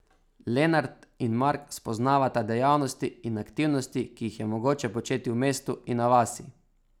Lenart in Mark spoznavata dejavnosti in aktivnosti, ki jih je mogoče početi v mestu in na vasi.